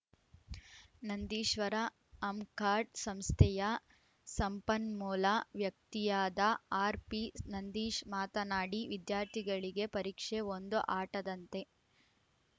ನಂದೀಶ್ವರ ಅಮ್‌ಕಾಡ್‌ ಸಂಸ್ಥೆಯ ಸಂಪನ್ಮೂಲ ವ್ಯಕ್ತಿಯಾದ ಆರ್‌ಪಿನಂದೀಶ್‌ ಮಾತನಾಡಿ ವಿದ್ಯಾರ್ಥಿಗಳಿಗೆ ಪರೀಕ್ಷೆ ಒಂದು ಆಟದಂತೆ